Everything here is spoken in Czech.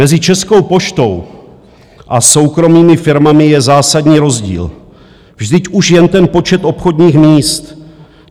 Mezi Českou poštou a soukromými firmami je zásadní rozdíl, vždyť už jen ten počet obchodních míst.